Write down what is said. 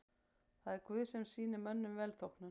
Það er Guð sem sýnir mönnum velþóknun.